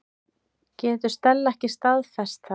Getur Stella ekki staðfest það?